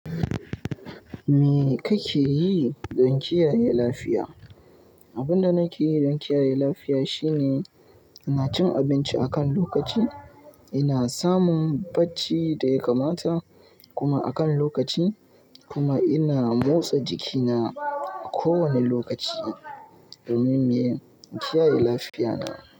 Me kake yi don kiyaye lafiya? Abin da nake yi don kiyaye lafiya shine ina cin abinci akan lokaci, ina samun bacci da ya kamata kuma akan lokaci kuma ina motsa jikina a kowane lokaci domin kiyaye lafiyana.